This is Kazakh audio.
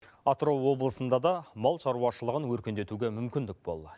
атырау облысында да мал шаруашылығын өркендетуге мүмкіндік болла